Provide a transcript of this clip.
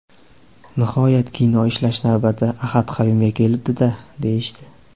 Nihoyat kino ishlash navbati Ahad Qayumga kelibdi-da, deyishdi.